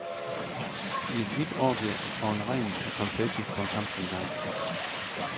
I et hvidt orgie og en regn af konfetti kom kampen i gang.